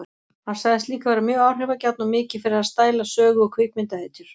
Hann sagðist líka vera mjög áhrifagjarn og mikið fyrir að stæla sögu- og kvikmyndahetjur.